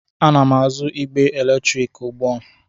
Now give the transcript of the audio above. Ana m azụ igbe eletrik ugbu a.